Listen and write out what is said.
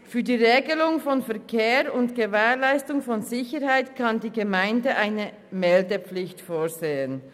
Für die Regelung von Verkehr und Gewährleistung von Sicherheit kann die Gemeinde eine Meldepflicht vorsehen.